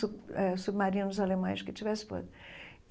Sub eh Submarinos alemães que tivessem.